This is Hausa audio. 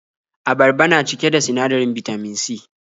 Abarba na cike da sinadarin Bitamin C.